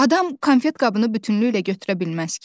Adam konfet qabını bütünlüklə götürə bilməz ki.